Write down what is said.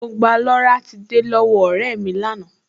Mo gba loratiday lọ́wọ́ ọ̀rẹ́ mi lánàá